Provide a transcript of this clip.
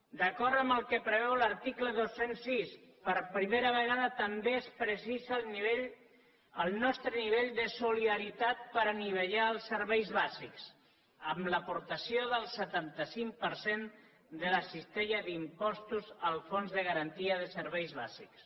d’acord amb el que preveu l’article dos cents i sis per primera ve gada també es precisa el nostre nivell de solidaritat per anivellar els serveis bàsics amb l’aportació del setanta cinc per cent de la cistella d’impostos al fons de garantia de serveis bàsics